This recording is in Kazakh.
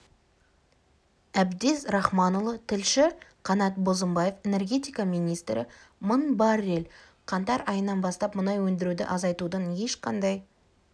әбдез рахманұлы тілші қанат бозымбаев энергетика министрі мың баррель қаңтар айынан бастап мұнай өндіруді азайтудың ешқандай